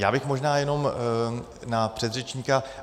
Já bych možná jenom na předřečníka.